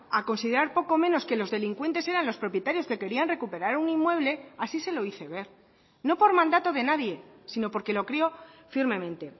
a considerar poco menos que los delincuentes eran los propietarios que querían recuperar un inmueble así se lo hice ver no por mandato de nadie sino porque lo creo firmemente